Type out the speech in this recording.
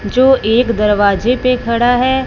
जो एक दरवाजे पे खड़ा है।